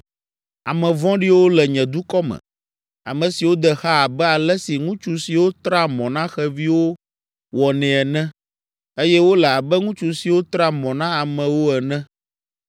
“Ame vɔ̃ɖiwo le nye dukɔ me, ame siwo de xa abe ale si ŋutsu siwo trea mɔ na xeviwo wɔnɛ ene eye wole abe ŋutsu siwo trea mɔ na amewo ene.